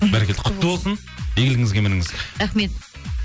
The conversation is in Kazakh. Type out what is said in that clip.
бәрекелді құтты болсын игілігіңізге мініңіз рахмет